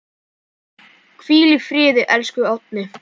Hvíl í friði, elsku Árni.